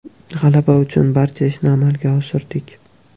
G‘alaba uchun barcha ishni amalga oshirdik.